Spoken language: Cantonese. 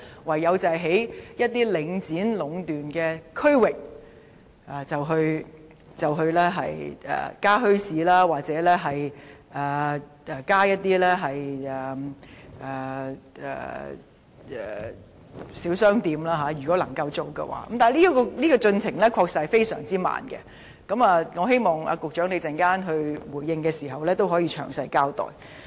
唯有在領展壟斷的區域內，在可行的情況下，增設墟市或小商店，但規劃的進程的確非常緩慢，我希望局長在稍後回應時，可以詳細交代。